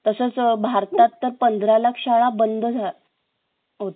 तसंच भारतात तर पन्द्रालाक शाळा बंद होत्या